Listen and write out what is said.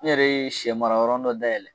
N yɛrɛ ye sɛ mara yɔrɔ n dɔ da yɛlɛ